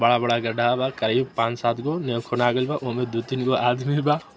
बड़ा-बड़ा गड्ढा बा करीब पांच सात गो बा ओय मे दू तीन गो आदमी बा।